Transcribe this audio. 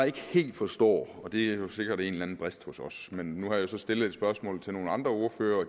ikke helt forstår og det skyldes jo sikkert en eller anden brist hos os men nu har jeg så stillet et spørgsmål til nogle andre ordførere